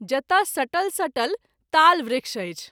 जतय सटल सटल ताल वृक्ष अछि।